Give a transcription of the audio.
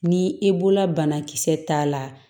Ni i bolola banakisɛ t'a la